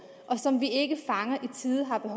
og